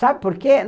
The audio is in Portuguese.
Sabe por quê?